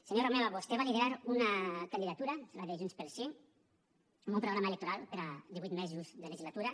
senyor romeva vostè va liderar una candidatura la de junts pel sí amb un programa electoral per a divuit mesos de legislatura